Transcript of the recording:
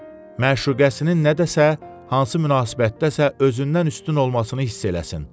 Məşuqəsinin nə dəsə hansı münasibətdəsə özündən üstün olmasını hiss eləsin.